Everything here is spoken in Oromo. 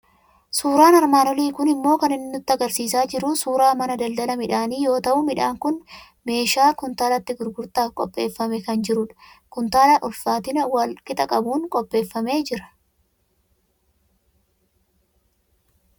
Suuraan armaan olii kun immoo kan inni nutti argisiisaa jiru suuraa mana daldala midhaanii yoo ta'u, midhaan kun keeshaa kuntaalatti gurgurtaaf qopheeffamee kan jiru dha. Kuntaala ulfaatina wal qixa qabuun qopheeffamee jira.